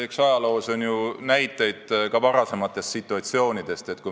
Eks ajaloos ole ju näiteid ka varasemate selliste situatsioonide kohta.